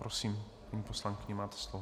Prosím, paní poslankyně, máte slovo.